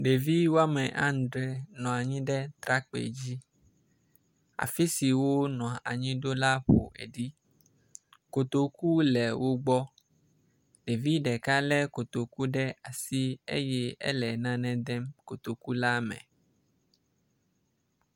Ɖevi woame adre nɔ anyi ɖe atrakpui dzi, afi si wonɔ any ɖo la ƒoɖi, kotoku le wogbɔ, ɖevi ɖeka le kotoku ɖe asi eye ele nane dem kotoku la me